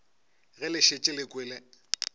ge le šetše le kwele